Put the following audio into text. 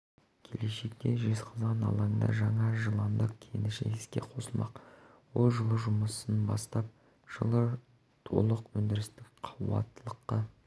келешекте жезқазған алаңында жаңа жыланды кеніші іске қосылмақ ол жылы жұмысын бастап жылы толық өндірістік қуаттылыққа